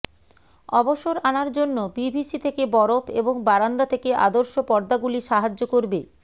অবসর আনার জন্য পিভিসি থেকে বরফ এবং বারান্দা থেকে আদর্শ পর্দাগুলি সাহায্য করবে